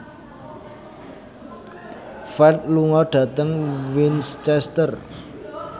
Ferdge lunga dhateng Winchester